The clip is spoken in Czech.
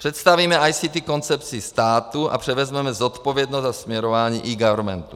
Představíme ICT koncepci státu a převezmeme zodpovědnost za směrování eGovernmentu.